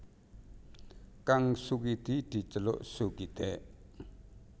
Kang Sukidi diceluk Sukidèk